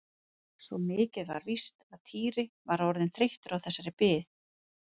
Svo mikið var víst að Týri var orðinn þreyttur á þessari bið.